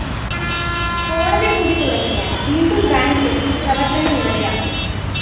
കോടതി കൂടി തുടങ്ങിയാല്‍ വീണ്ടും ബാങ്കിലെത്തി പ്രവര്‍ത്തന നിരതയാകും